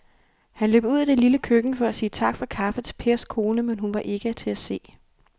Han løb ud i det lille køkken for at sige tak for kaffe til Pers kone, men hun var ikke til at se.